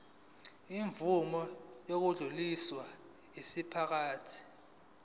imvume yokudluliselwa yinkampani